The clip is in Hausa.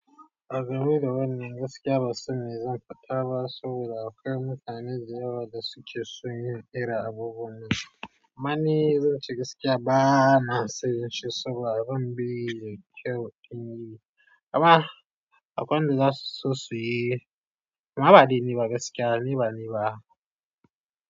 Ba game da wannan gaskiya ban san me zan fada ba saboda akwai mutane da yawa da suke son yin irin abubuwan nan. Amma ni zan ce gaskiya ba na sanye shi saboda zan bi kyau. Amma akwai wanda za su so su yi. Amma ba dai ni ba gaskiya, ni ba ni ba.